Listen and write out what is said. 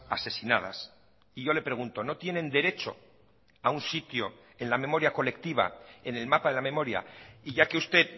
asesinadas y yo le pregunto no tienen derecho a un sitio en la memoria colectiva en el mapa de la memoria y ya que usted